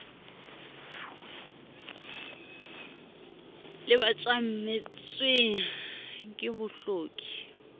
le ba tjametsweng ke bohloki